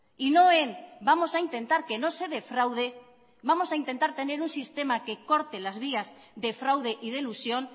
y no en vamos a intentar que no se defraude vamos a intentar tener un sistema que corte las vías de fraude y de elusión